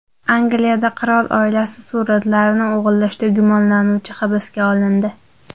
Angliyada qirol oilasi suratlarini o‘g‘irlashda gumonlanuvchi hibsga olindi.